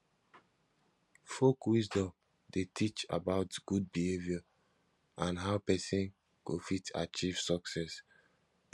folk wisdom de teach about good behavior and how persin go fit achieve success